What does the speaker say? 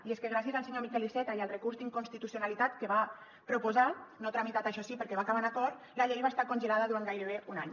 i és que gràcies al senyor miquel iceta i al recurs d’inconstitucionalitat que va proposar no tramitat això sí perquè va acabar en acord la llei va estar congelada durant gairebé un any